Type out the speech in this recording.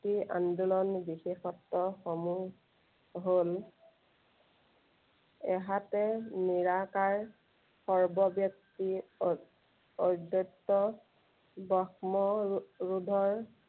এই আন্দোলন বিশেষত্ব সমূহ হল এহাতে নিৰাকাৰ সৰ্ব ব্য়ক্তি অ~অব্য়ক্ত, ব্ৰহ্ম ৰো~ৰোধৰ